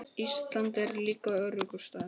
Ísland er líka öruggur staður.